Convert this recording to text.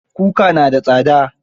Kuka na da tsada